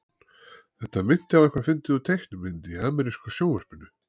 Þetta minnti á eitthvað fyndið úr teiknimynd í ameríska sjónvarpinu.